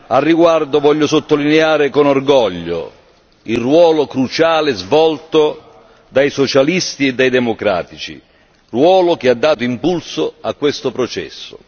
A riguardo voglio sottolineare con orgoglio il ruolo cruciale svolto dai socialisti e democratici, ruolo che ha dato impulso a questo processo.